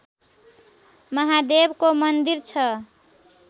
महादेवको मन्दिर छ